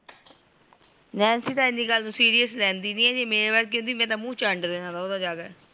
Nancy ਤ ਇਹਨੀਂ ਗੱਲ ਨੂ serious ਲੇਹੰਦੀ ਨਹੀਂ ਮੇਰੀ ਵਰਗੀ ਹੁੰਦੀ ਮੈਂ ਤ ਮੂੰਹ ਚੰਡ ਦੇਣ ਸੀ ਓਹਦਾ ਜਾਕੇ